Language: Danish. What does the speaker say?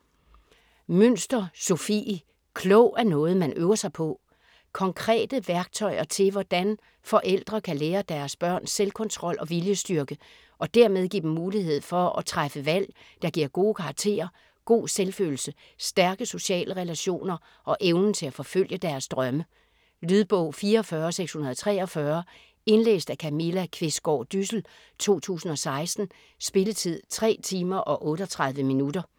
Münster, Sofie: Klog er noget, man øver sig på Konkrete værktøjer til hvordan forældre kan lære deres børn selvkontrol og viljestyrke, og dermed give dem mulighed for træffe valg der giver gode karakterer, god selvfølelse, stærke sociale relationer og evnen til at forfølge deres drømme. Lydbog 44643 Indlæst af Camilla Qvistgaard Dyssel, 2016. Spilletid: 3 timer, 38 minutter.